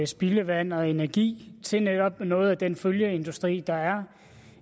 spildevand og energi til netop noget af den følgeindustri der er